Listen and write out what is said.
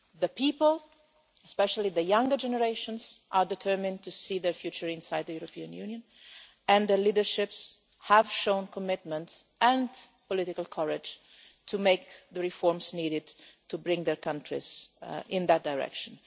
The people, especially the younger generations, are determined to see their future inside the European Union and the leaderships have shown commitment and political courage to make the reforms needed to bring their countries in that direction.